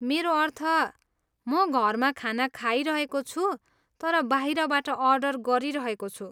मेरो अर्थ, म घरमा खाना खाइरहेको छु तर बाहिरबाट अर्डर गरिरहेको छु।